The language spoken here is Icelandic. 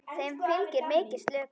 Þeim fylgir mikil slökun.